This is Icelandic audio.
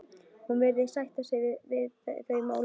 Hún virðist sætta sig við þau málalok.